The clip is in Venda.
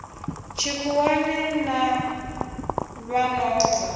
tshikhuwani na vha no bva